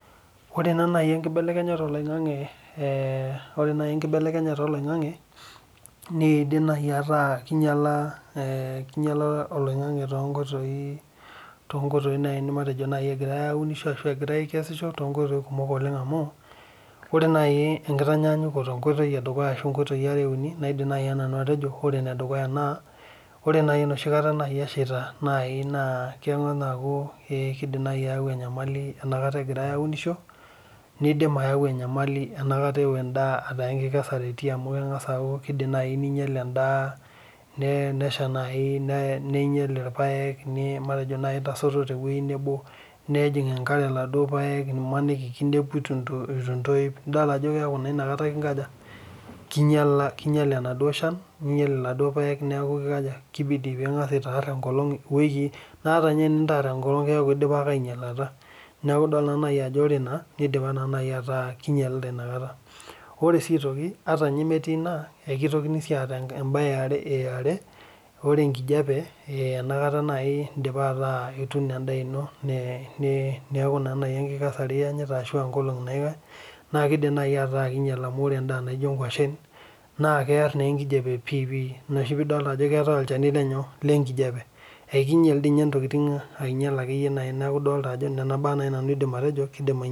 Ore nai enkibelekenyata oloingangi nidim nai ataa kinyala oloingangi matejo egirai aunisho egirai akesisho tonkoitoi kumok oleng amu ore enkitanyanyuko edukuya na kaidim atejo ore nai enoshikata eshaita nakidim ayau enyamali egirai aunisho nidim ayau enyamali aa enkesare etiiki amu kidim naininyalbendaa nesha ninyel irpaek matejo nejing enkare laduo paek matejo kinepua ituntoip nifol ajo kinyala enaduo shani neaku kiko aja kibidi pingasa aitoosho enkolong na keaku kinayala ake neaku ore naa nidipa naibataa kinyalita i akata ore si metii iba kidimi ataa keetae eniare ore enkijape enoshi kata ituuno endaa ino neaku enkikesare iasita na ore endaa nijo nkwashen na kear enkijape pii na ina pidolita ajo keetae olchanu lenkijape akinyel nai ntokitin neaku nona baa nanu adolita ajo kidim ainyala